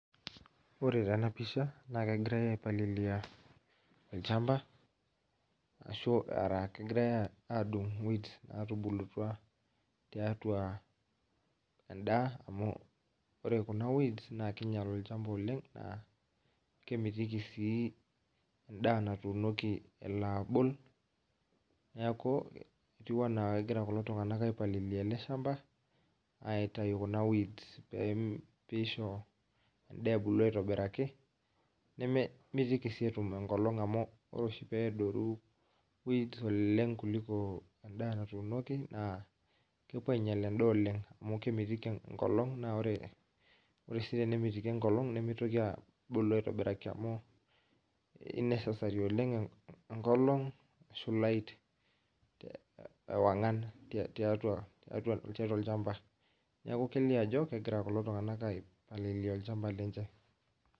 Ore tena pisha naa kegirae aipalilia olchamba ashu ara kegirae adung imoit natubulutua tiatua endaa amu ore kuna weeds naa kinyial olchamba oleng naa kemitiki indaa natumoki elo agol. Niaku etiu anaa kegira kulo tunganak aipalilia ele shamba aitayu kuna weeds pem, pisho endaa ebulu aitobiraki nememitiki sii etum enkolong aitobiraki amu ore oshi peadoru weeds oleng kuliko endaa natuunoki naa kepuo ainyial endaa oleng amu kemitiki enkolong naa ore , ore sii tenemitiki enkolong abulu aitobiraki oleng amu kinecessary oleng enkolong ashu light ewangan tiatua olchamba . Niaku kelio ajo kegira kulo tunganak aipalilia olchamba lenche.